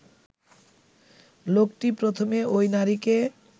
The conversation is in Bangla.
লোকটি প্রথমে ঐ নারীকে